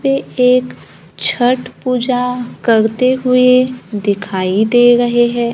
यह एक छठ पूजा करते हुए दिखाई दे रहे हैं।